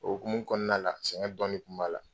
O hokumu kɔɔna la, tiɲɛ bange kun b'a la.